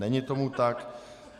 Není tomu tak.